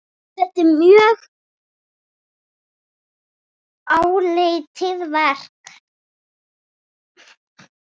Þetta er mjög áleitið verk.